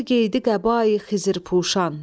Yer geydi qəbai-xızır puşan.